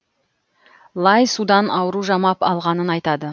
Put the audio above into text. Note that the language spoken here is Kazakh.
лай судан ауру жамап алғанын айтады